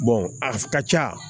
a ka ca